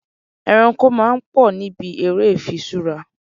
Ẹranko máa ń pò níbi ère ifiṣura.